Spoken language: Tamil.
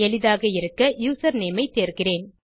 எளிதாக இருக்க யூசர்நேம் ஐ தேர்கிறேன்